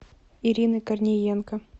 ирины корниенко